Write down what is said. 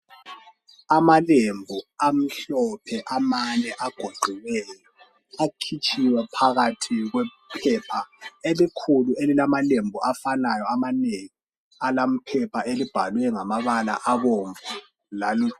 amalembu amhlophe amane agoqiweyo akhitshiwe phakathi kwephepha elikhulu elilamalembu afanayo amanengi alama phepha abhlwe ngamabala abomvu lalu